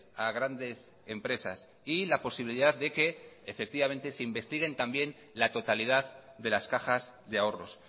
a grandes empresas y la posibilidad de que se investiguen también la totalidad de las cajas de ahorros